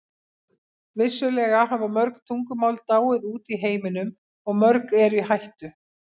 Vissulega hafa mörg tungumál dáið út í heiminum og mörg eru í hættu.